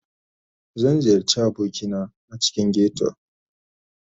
Zan ziyarci abokina a cikin ghetto